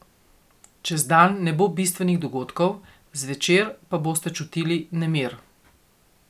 Čez dan ne bo bistvenih dogodkov, zvečer pa boste čutili nemir.